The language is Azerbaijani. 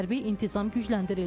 Hərbi intizam gücləndirildi.